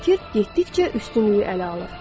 fikir getdikcə üstünlüyü ələ alır.